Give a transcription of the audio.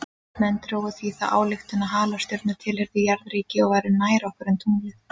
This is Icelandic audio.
Menn drógu því þá ályktun að halastjörnur tilheyrðu jarðríki og væru nær okkur en tunglið.